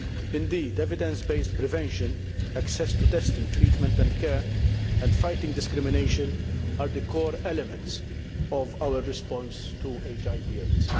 Indeed, evidence based prevention, access to testing, treatment and care, and fighting discrimination are the core elements of our response to HIV AIDS.